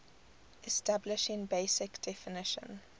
establishing basic definition